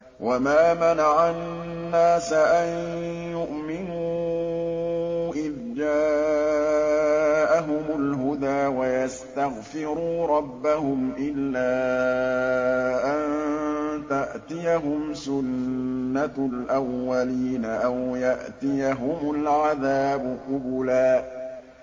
وَمَا مَنَعَ النَّاسَ أَن يُؤْمِنُوا إِذْ جَاءَهُمُ الْهُدَىٰ وَيَسْتَغْفِرُوا رَبَّهُمْ إِلَّا أَن تَأْتِيَهُمْ سُنَّةُ الْأَوَّلِينَ أَوْ يَأْتِيَهُمُ الْعَذَابُ قُبُلًا